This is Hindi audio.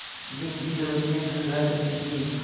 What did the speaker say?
दिन की रोशनी धुँधला चली थी